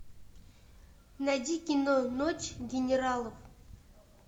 найди кино ночь генералов